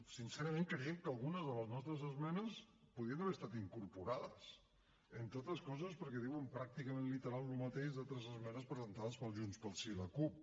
sincerament creiem que algunes de les nostres esmenes podien haver estat incorporades entre altres coses perquè diuen pràcticament literal el mateix d’altres esmenes presentades per junts pel sí i la cup